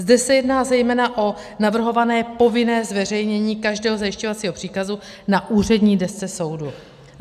Zde se jedná zejména o navrhované povinné zveřejnění každého zajišťovacího příkazu na úřední desce soudu.